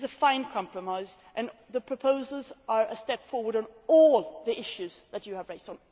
It is a fine compromise, and the proposals are a step forward on all the issues that you have raised.